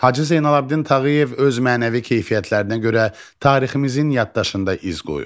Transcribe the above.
Hacı Zeynalabdin Tağıyev öz mənəvi keyfiyyətlərinə görə tariximizin yaddaşında iz qoyub.